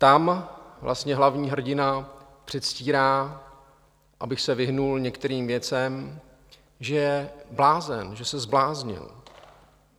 Tam vlastně hlavní hrdina předstírá, aby se vyhnul některým věcem, že je blázen, že se zbláznil.